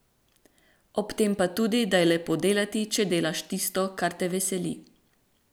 Ob tem pa tudi, da je lepo delati, če delaš tisto, kar te veseli.